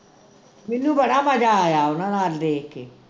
ਮੈਨੂੰ ਬੜਾ ਮਜਾ ਆਇਆ ਉਨ੍ਹਾਂ ਨਾਲ ਦੇਖ ਕੇ